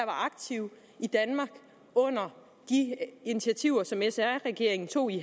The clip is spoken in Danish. aktive i danmark under de initiativer som sr regeringen tog i